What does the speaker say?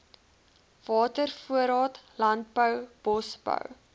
watervoorraad landbou bosbou